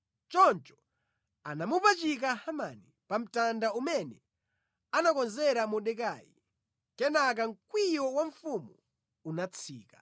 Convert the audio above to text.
Choncho anamupachika Hamani pa mtanda umene anakonzera Mordekai. Kenaka mkwiyo wa mfumu unatsika.